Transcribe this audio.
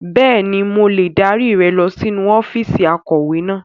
Bẹ́ẹ̀ni, mo lè dárí rẹ lọ sínú ọ́fíìsì akọ̀wé náà.